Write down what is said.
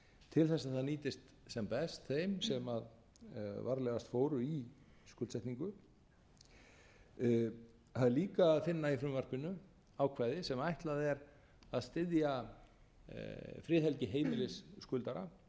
til þess að það nýtist sem best þeim sem varlegast fóru í skuldsetningu það er líka að finna í frumvarpinu ákvæði sem ætlað er að styðja friðhelgi heimilis